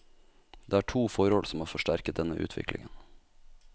Det er to forhold som har forsterket denne utviklingen.